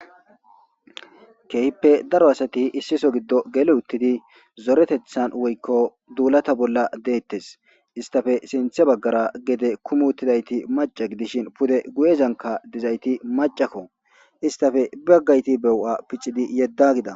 kehippe daro asati issiso giddo gele uttidi zoretethan woykko duulata bolla deettes istafe sinthe baggara gede kumuttidayti maca gidishin pude guyezanka dizayti macakko istafe baggayti bewu7a piccidi yedda gida